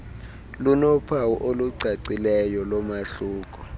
linophawu olucacileyo lomahluko